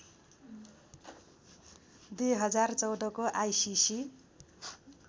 २०१४ को आइसिसी